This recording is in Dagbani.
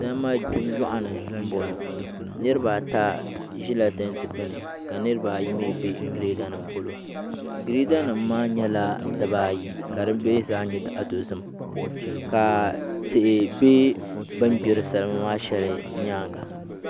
Salima gbibu yoɣu ni n boŋo nirabaata ʒila tanti gbuni ka nirabaayi mii bɛ girɛda nim polo girɛda nim maa nyɛla dibaayi ka di mii zaa nyɛ zaɣ dozim ka tihi bɛ bini gbiri salima maa shɛli maa nyaanga